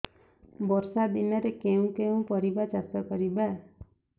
ବର୍ଷା ଦିନରେ କେଉଁ କେଉଁ ପରିବା ଚାଷ କରିବା